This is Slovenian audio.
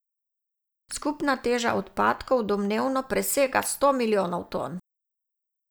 Skupna teža odpadkov domnevno presega sto milijonov ton.